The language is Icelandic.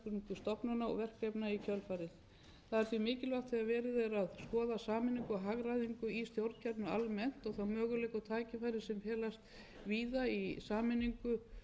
stofnana og verkefna í kjölfarið það er því mikilvægt þegar verið er að skoða sameiningu og hagræðingu í stjórnkerfinu almennt og þá möguleika og tækifæri sem felast víða í sameiningu og